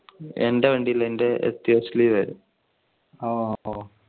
എന്റെ വണ്ടില് എന്റെആയിരുന്നു.